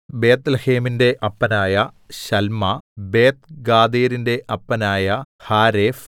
ബേത്ത്ലേഹേമിന്‍റെ അപ്പനായ ശല്മാ ബേത്ത്ഗാദേരിന്റെ അപ്പനായ ഹാരേഫ്